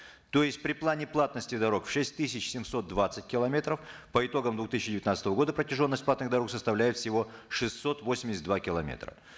то есть при плане платности дорог в шесть тысяч семьсот двадцать километров по итогам две тысячи девятнадцатого года протяженность платных дорог составляет всего шестьсот восемьдесят два километра